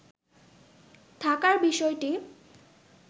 থাকার বিষয়টি